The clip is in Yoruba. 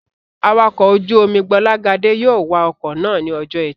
Awakọ̀ ojú-omi Gbọ́lágadé yóò wa ọkọ̀ náà ní ọjọ́ ẹtì